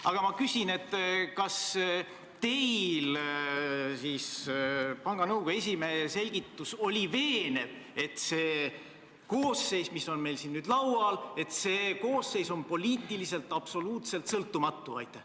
Aga ma küsin: kas teie jaoks mõjus veenvalt panga nõukogu esimehe selgitus, et see koosseis, mis on meil siin nüüd laual, on poliitiliselt absoluutselt sõltumatu?